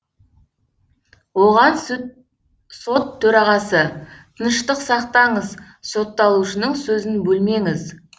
оған сот төрағасы тыныштық сақтаңыз сотталушының сөзін бөлмеңіз